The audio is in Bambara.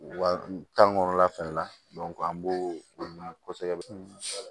Wa tan kɔnɔna fɛnɛ la an b'o ɲini kosɛbɛ